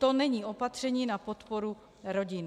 To není opatření na podporu rodin.